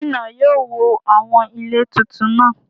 Ṣé gómìnà yóò wó àwọn ilé tuntun náà?